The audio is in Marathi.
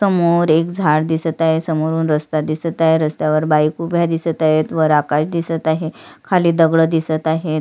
समोर एक झाड दिसत आहे समोरून रस्ता दिसत आहे रस्त्यावर बाइक उभ्या आहेत वर आकाश दिसत आहे खाली दगड दिसत आहेत.